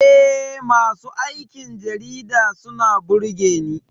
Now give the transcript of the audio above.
Eh, masu aikin jarida suna burge Ni.